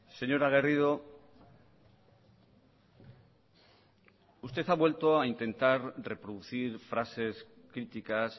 señora garrido usted ha vuelto a intentar reproducir frases críticas